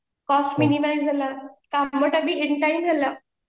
cost minimize ହେଲା କାମ ଟା ବି in time ହେଲା